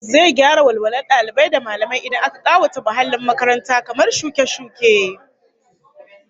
Zai gyara walwalar dalibai da mallamai idan aka kawata muhallin makaranta kamar shuke-shuke